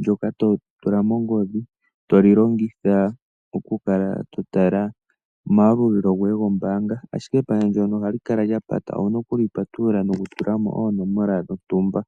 ndoka to tula mo ongodhi, to li longitha okukala to tala omayalulilo goye gombaanga, ashike epandja ndono ohali kala lya pata, owu na oku li patulula nokutula mo oonomola dhontumba.